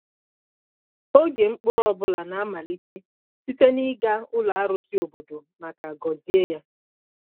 Oge mkpụrụ ọ bụla na-amalite site n’ịga ụlọ arụsị obodo maka gọzie ya.